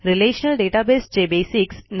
relational database चे basics